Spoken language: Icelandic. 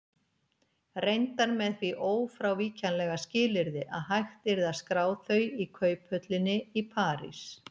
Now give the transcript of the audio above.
Reyndar með því ófrávíkjanlega skilyrði að hægt yrði að skrá þau í kauphöllinni í París.